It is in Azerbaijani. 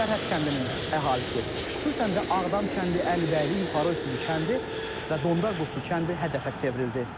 Sərhəd kəndinin əhalisi, xüsusən də Ağdam kəndi, Əlibəyli, Yuxarı Öysüzlü kəndi və Dondar Quşçu kəndi hədəfə çevrildi.